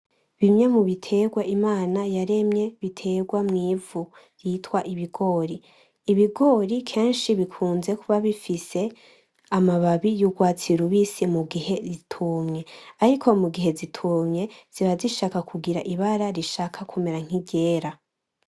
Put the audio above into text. Bimwe mu bitegwa imana yaremye bitegwa mw'ivu vyitwa ibigori, ibigori kenshi bikunze kuba bifise amababi y'urwatsi rubisi mugihe bitumye ariko mugihe zitumye ziba zishaka kugira ibara rishaka kumera nk'iryera.